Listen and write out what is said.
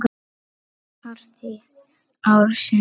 Partí ársins?